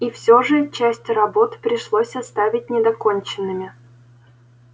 и всё же часть работ пришлось оставить недоконченными